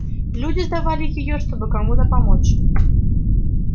люди сдавали её чтобы кому-то помочь